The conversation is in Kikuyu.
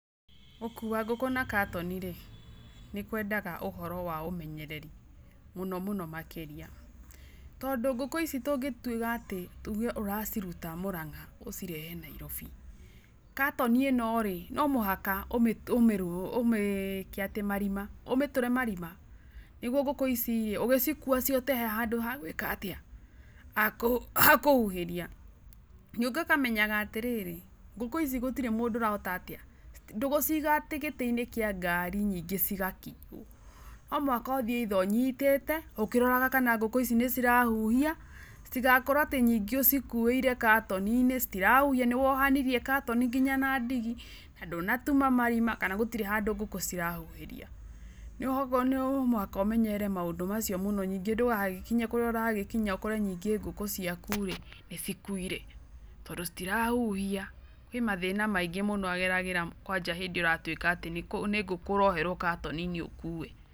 Gũkua ngũkũ na katoni-rĩ, nĩkwendaga ũhoro wa ũmenyereri, mũno mũno makĩria. Tondũ ngũkũ ici tũngĩtwĩka atĩ ũge ũraciruta Mũrang'a ũcirehe Nairobi, katoni ĩno rĩ, nomĩhaka um ũmĩkeatĩ marima. Ũmĩtũre marima nĩguo ngũkũ ici rĩ, ũgĩcikua, cihote harĩ handũ ha gwĩka atĩa? ha kũhuhĩria. Ningĩ ũkamenyaga atĩrĩrĩ, ngũkũ ici gũtiri mũndũ ũrahota atia? Ndũgũciga atĩ gĩtĩ-inĩ kĩa ngari nyingĩ cigakĩigwo, nomũhaka ũthiĩ either ũnyitĩte ũkĩroraga kana ngũkũ ici nĩcĩrahuhia, citigakorwo atĩ nyingĩ ũcikũĩire katoninĩ citirahuhia, nĩwohanirie katoni nginya na ndigi, na ndũnatuma marima, kana gũtirĩ handũ ngũkũ cirahuhĩria. um oguo nomũhaka ũmenyere maũndũ macio mũno, nĩngĩ ndũgagĩkinye kũrĩa ũragĩkinya ũkore nĩngĩ ngũkũ ciaku-rĩ nĩcikuire. tondũ citirahuhia. Kwĩ mathĩna maingĩ mũno ageragĩra kwaja hĩndĩ ĩo ũratuĩka atĩ nĩ ngũkũ ũroherwo katoninĩ ũkue.